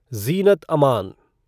ज़ीनत अमन